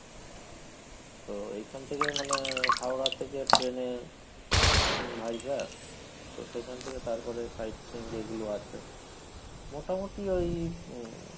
তো এইখান থেকে মানে হাওড়া থেকে train এ Vizag তো সেখান থেকে তারপরে side scene যেগুলো আছে মোটামটি ওই উম